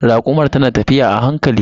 Rakumar ta na tafiya a hankali.